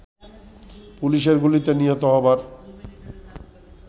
পুলিশের গুলিতে নিহত হবার